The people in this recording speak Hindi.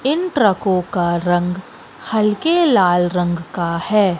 इन ट्रकों का रंग हल्के लाल रंग का है।